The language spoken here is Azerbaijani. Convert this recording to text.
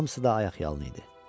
Hamısı da ayaqyalın idi.